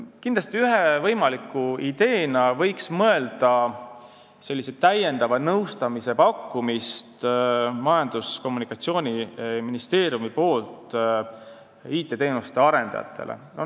Kindlasti tuleks ühe võimaliku ideena mõelda nõustamise pakkumisele Majandus- ja Kommunikatsiooniministeeriumist IT-teenuste arendajatele.